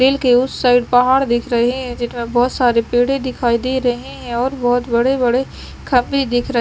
परेल के उस साइड पहाड़ दिख रहे हैं जिधर बहुत सारे पेड़े दिखाई दे रहे हैं और बहुत बड़े बड़े खंभे दिख रहे --